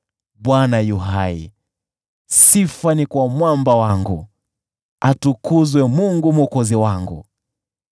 Bwana yu hai! Sifa ni kwa Mwamba wangu! Atukuzwe Mungu Mwokozi wangu!